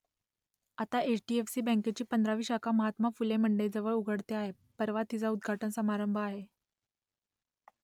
आता H D F C बँकेची पंधरावी शाखा महात्मा फुले मंडईजवळ उघडते आहे परवा तिचा उद्घाटन समारंभ आहे